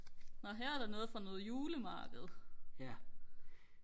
nå her er der noget fra noget julemarked